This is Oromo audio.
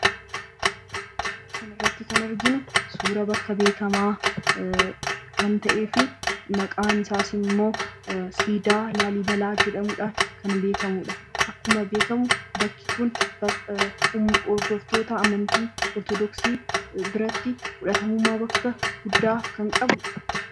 Suura kanarratti kan arginu suuraa bakka beekamaa kan ta’ee fi maqaan isaas immoo siidaa 'Laallibalaa' jedhamuudhaan kan beekamudha. Akkuma beekamu bakki kun hirdoftoota amanyltii Orthodooksii burayti fudhatama bakka guddaa kan qabudha.